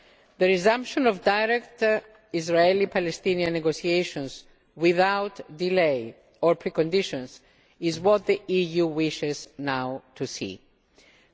The resumption of direct Israeli Palestinian negotiations, without delay or preconditions, is what the EU wishes to see now.